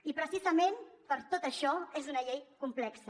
i precisament per tot això és una llei complexa